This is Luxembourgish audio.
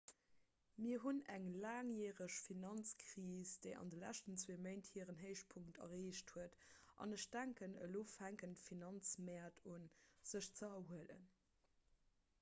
mir hunn eng laangjäreg finanzkris déi an de leschten zwee méint hiren héichpunkt erreecht huet an ech denken elo fänken d'finanzmäert un sech ze erhuelen